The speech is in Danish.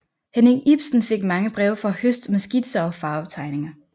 Henning Ipsen fik mange breve fra Høst med skitser og farvetegninger